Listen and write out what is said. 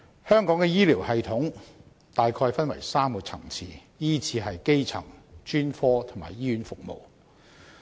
香港的醫療系統大概分為3個層次，依次是基層、專科及醫院服務。